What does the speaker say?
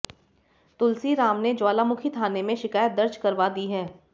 तुलसी राम ने ज्वालामुखी थाने में शिकायत दर्ज करवा दी है